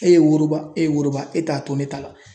E ye woroba e ye woroba e t'a to ne ta la.